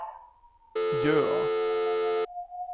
Jøa